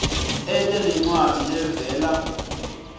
ete nencwadzi levela